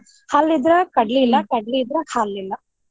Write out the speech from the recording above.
ಹಲ್ಲ್ ಇದ್ರ ಕಡ್ಲಿ ಇಲ್ಲಾ ಕಡ್ಲಿ ಇದ್ರ ಹಲ್ಲ್ ಇಲ್ಲಾ.